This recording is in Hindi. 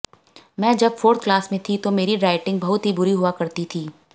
मैं जब फोर्थ क्लास में थी तो मेरी राइटिंग बहुत ही बुरी हुआ करती थी